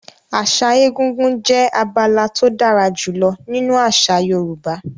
Àṣà egúngún jẹ́ abala tó dára jùlọ nínú àṣà Yorùbá.